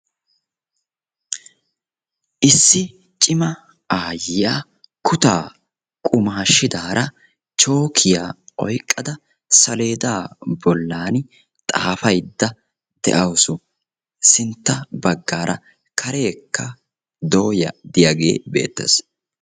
Issi cima aayyiya kutaa qumaashidaara chookkiya oyqqada saleedaa bollani xaafaydda de'awusu. Sintta baggaara kareekka dooya diyaagee beettees.